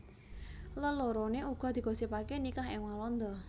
Leloroné uga digosipaké nikah ing Walanda